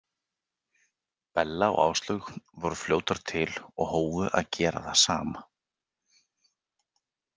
Bella og Áslaug voru fljótar til og hófu að gera það sama.